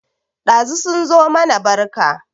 Ɗazu sun zo mana barka